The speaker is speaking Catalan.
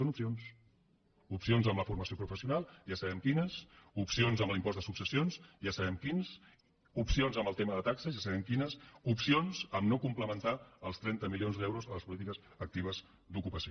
són opcions opcions en la formació professional ja sabem quines opcions en l’impost de successions ja sabem quines opcions en el tema de taxes ja sabem quines opcions a no complementar els trenta milions d’euros de les polítiques actives d’ocupació